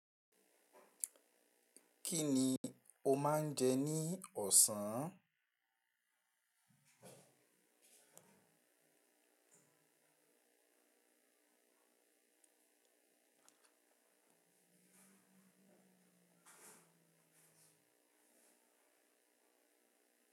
Kí ni o máa ń jẹ ní ọ̀sán?